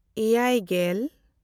ᱮᱭᱟᱭᱼᱜᱮᱞ